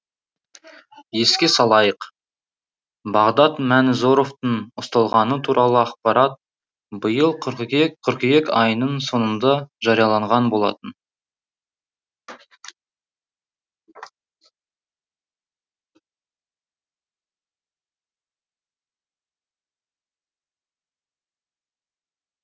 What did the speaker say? еске салайық бағдат мәнізоровтың ұсталғаны туралы ақпарат биыл қыркүйек қыркүйек айының соңында жарияланған болатын